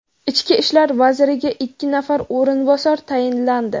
Ichki ishlar vaziriga ikki nafar o‘rinbosar tayinlandi.